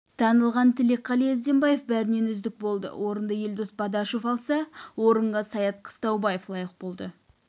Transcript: танылған тілекқали ізденбаев бәрінен үздік болды орынды елдос бадашев алса орынға саят қыстаубаев лайық болды